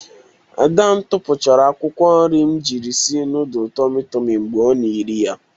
Ada m tupuchara akwukwo nri m jiri sie nudul tomi tomi mgbe ọ na-eri ya.